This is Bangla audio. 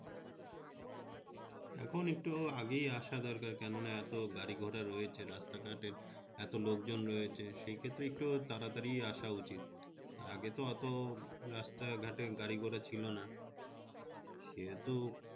school একটু আগে আসা দরকার কেননা অনেক গাড়ি-ঘোড়া রয়েছে রাস্তাঘাটে, এত লোকজন রয়েছে সেক্ষেত্রে একটু তাড়াতাড়ি আসা উচিত, আগে তো অত রাস্তাঘাটে গাড়ি-ঘোড়া ছিল না কিন্তু